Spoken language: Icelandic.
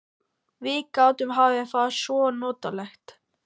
Við gætum haft það svo notalegt.